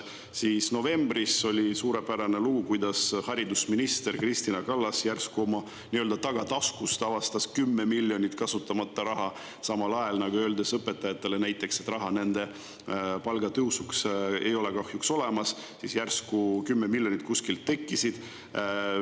Siis novembris oli suurepärane lugu, kuidas haridusminister Kristina Kallas järsku oma nii-öelda tagataskust avastas 10 miljonit eurot kasutamata raha – olles öelnud õpetajatele, et raha nende palgatõusuks kahjuks ei ole, siis järsku 10 miljonit kuskilt tekkis.